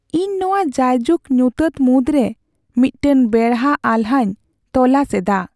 ᱤᱧ ᱱᱚᱶᱟ ᱡᱟᱭᱡᱩᱜ ᱧᱩᱛᱟᱹᱛ ᱢᱩᱫᱽᱨᱮ ᱢᱤᱫᱴᱟᱝ ᱵᱮᱲᱟ ᱟᱦᱞᱟᱧ ᱛᱚᱞᱟᱥ ᱮᱫᱟ ᱾